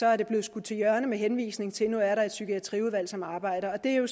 er det blevet skudt til hjørne med henvisning til at nu er der et psykiatriudvalg som arbejder og det er jo